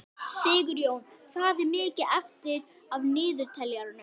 Fjórum sinnum sneri ég aftur og fjórum sinnum sagði